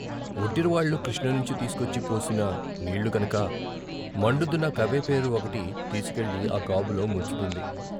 వొడ్డిరవాళ్ళు కృష్ణనుంచి తీసుకొచ్చి పోసిన నీళ్ళు కనుక మండుతున్న కబైపేరు ఒకటి తీసుకెళ్ళి ఆ గాబులో ముంచుతుంది.